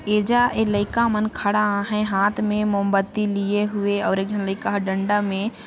ऐजा ऐ लइका मन खड़ा है हाथ में मोमबत्ती लिए हुए और एक झन लायिका ह डंडा में--